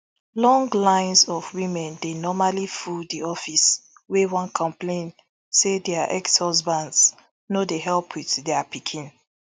long lines of women dey normally full di office wey wan complain say dia exhusbands no dey help wit dia pikin